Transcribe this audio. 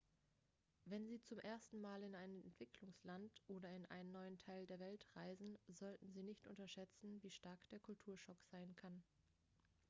wenn sie zum ersten mal in ein entwicklungsland oder in einen neuen teil der welt reisen sollten sie nicht unterschätzen wie stark der kulturschock sein kann